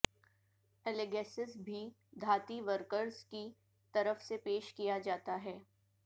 الیگیسس بھی دھاتی ورکرز کی طرف سے پیش کیا جاتا ہے